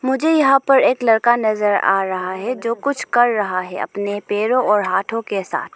मुझे यहां पर एक लड़का नजर आ रहा है जो कुछ कर रहा है अपने पैरों और हाथों के साथ।